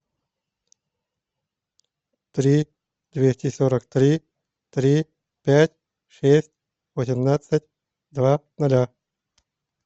три двести сорок три три пять шесть восемнадцать два ноля